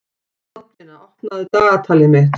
Baldvina, opnaðu dagatalið mitt.